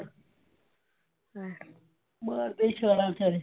ਮਾਰਦੇ ਛਾਲਾਂ ਫ਼ਿਰ।